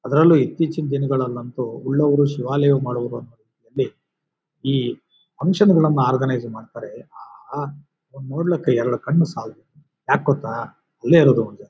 ಅದ್ರಲ್ಲೂ ಇತ್ತೀಚಿನ ದಿನಗಳಲ್ಲಿ ಅಂತೂ ಉಳ್ಳವರು ಶಿವಾಲಯ ಮಾಡುವರು. ಈ ಫುನ್ಕ್ಷನ್ ಗಳನ್ನೂ ಒರ್ಗನೈಜ್ ಮಾಡ್ತಾರೆ ಆ ನೋಡ್ಲಿಕ್ಕೆ ಎರಡು ಕಣ್ಣುಗಳು ಸಾಲದು ಯಾಕ್ ಗೊತ್ತಾ ಅಲ್ಲೇ ಇರೋದು ಒಂದು--